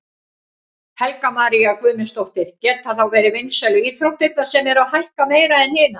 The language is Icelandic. Helga María Guðmundsdóttir: Geta þá verið vinsælu íþróttirnar sem eru að hækka meira en hinar?